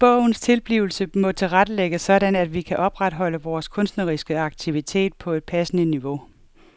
Bogens tilblivelse må tilrettelægges sådan at vi kan opretholde vores kunstneriske aktivitet på et passende niveau.